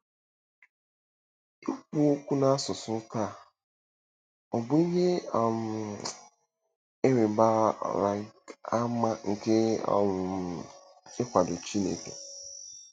Ikwu Okwu n’Asụsụ Taa—Ọ̀ Bụ Ihe um ịrịba um ama nke um Nkwado Chineke?